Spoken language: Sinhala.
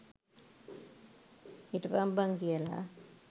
හිටපං බං කියලා.